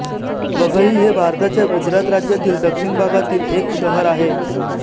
वघई हे भारताच्या गुजरात राज्यातील दक्षिण भागातील एक शहर आहे